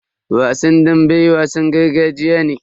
Wasan dambe wasan gargajiya ne.